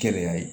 Gɛlɛya ye